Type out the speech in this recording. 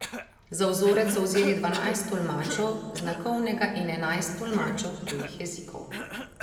Za vzorec so vzeli dvanajst tolmačev znakovnega in enajst tolmačev tujih jezikov.